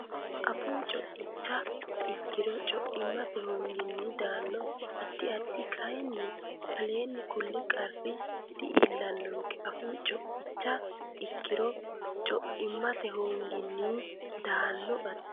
Afuu co icha ikkiro Co immate hoonginni daanno addi addi kayinni aleenni kulli qarri di iillannonke Afuu co icha ikkiro Co immate hoonginni daanno addi.